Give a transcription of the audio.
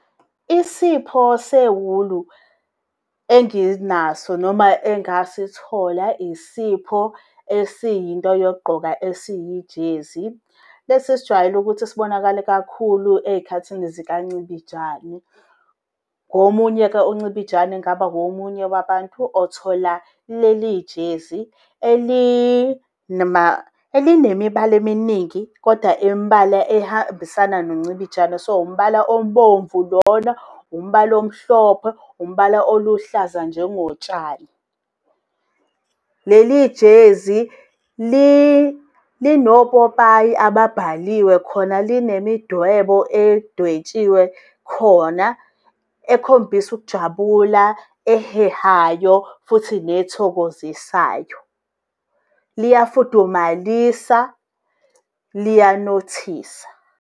Isipho sewulu enginaso noma engasithola, isipho esiyi nto yokugqoka, esiyi-jersey. Lesi esijwayele ukuthi sibonakale kakhulu ezikhathini zikancibijane. Ngomunye-ke uncibijane ngabawomunye wabantu othola leli jersey elinemibala eminingi, kodwa imibala ehambisana noncibijane. So umbala ombovu lona, umbala omhlophe, umbala oluhlaza njengotshani. Leli jersey linopopayi ababhaliwe khona, linemidwebo edwetshiwe khona ekhombisa ukujabula, ehehayo futhi nethokozisayo. Liyafudumalisa, liyanothisa.